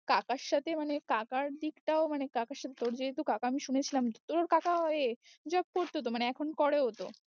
কাকার সাথে মানে কাকার দিকটাও মানে কাকার সাথে তোর যেহুতু কাকা আমি শুনেছিলাম তোর কাকা ওয়ে job করতো তো মানে এখন করেও তো